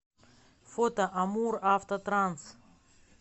фото амуравтотранс